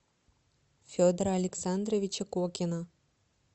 федора александровича кокина